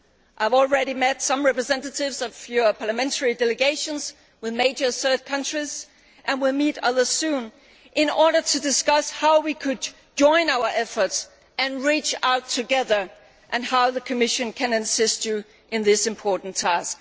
I have already met some representatives of your parliamentary delegations with major third countries and will meet others soon in order to discuss how we could join our efforts and reach out together and how the Commission can assist you in this important task.